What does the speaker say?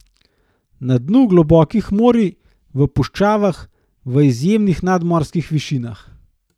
Na dnu globokih morij, v puščavah, v izjemnih nadmorskih višinah.